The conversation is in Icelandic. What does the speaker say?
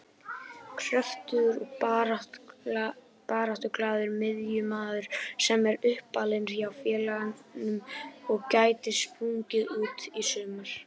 Kröftugur og baráttuglaður miðjumaður sem er uppalinn hjá félaginu og gæti sprungið út í sumar.